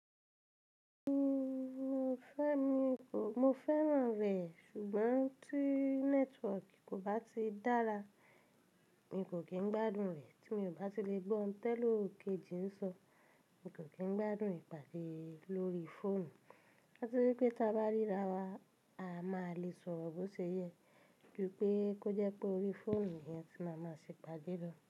Mo fẹ́ràn rẹ̀ ṣùgbọ́n tí network kò bá ti dára, mi kò kí ń gbádùn rẹ̀. Tí mi ò bá ti lè gbọ́un tẹ́lo kejì ń sọ, mi kò kí ń gbádùn ìpàdé lórí fóònù. Áti rí i pé tí a bá ríra wa, a máa lè sọrọ bó ṣe yẹ. Jú pẹ́ kó jẹ́ pé orí fóònù ni tí a ma máa ṣe ìpàdé lọ.